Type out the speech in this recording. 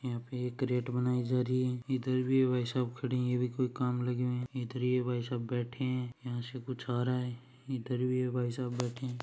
यहाँ पे एक केरेट बनाई जा रही है इधर भी भाईसाब खड़े है अभी कोई काम लगे हुए है इधर ये भाईसाब बैठे है यहाँ से कुछ आ रहे है इधर भी ये भाईसाब बैठे है।